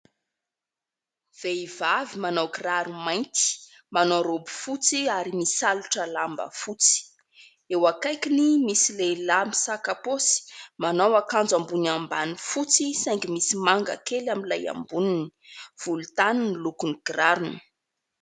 Vehivavy manao kiraro mainty, manao raoby fotsy ary misalotra lamba fotsy. Eo akaikiny misy lehilahy misaka paosy, manao akanjo ambony ambany fotsy saingy misy manga kely amin'ilay amboniny, volontany ny lokon'ny kirarony.